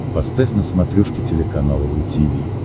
поставь на смотрешке телеканал ру ти ви